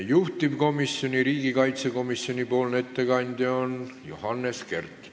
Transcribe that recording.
Juhtivkomisjoni, riigikaitsekomisjoni ettekandja on Johannes Kert.